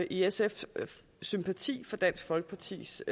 i sf sympati for dansk folkepartis